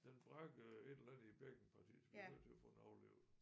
Den brækkede et eller andet i bækkenpartiet så vi var nødt til at få den aflivet